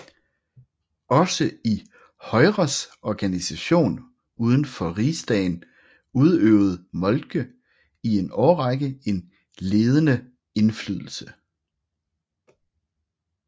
Også i Højres organisation uden for Rigsdagen udøvede Moltke i en årrække en ledende indflydelse